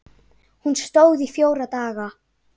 Hún stóð í fjóra daga.